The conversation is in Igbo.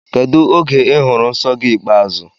Kedụ oge I hụrụ nsọ gị ikpeazụ?